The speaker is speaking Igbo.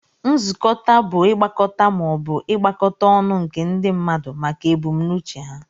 Nzukọta bu igbakọt ma obu igbakọta ọnụ nke ndi mmadu maka ebumnuche ha.